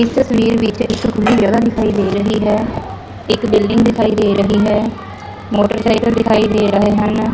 ਇਸ ਤਸਵੀਰ ਵਿੱਚ ਇੱਕ ਖੁੱਲੀ ਜਗਹਾ ਦਿਖਾਈ ਦੇ ਰਹੀ ਹੈ ਇਕ ਬਿਲਡਿੰਗ ਦਿਖਾਈ ਦੇ ਰਹੀ ਹੈ ਮੋਟਰਸਾਈਕਲ ਦਿਖਾਈ ਦੇ ਰਹੇ ਹਨ।